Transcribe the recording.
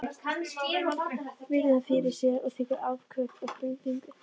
Virðir hana fyrir sér og tekur andköf af hrifningu.